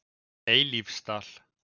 Eilífsdal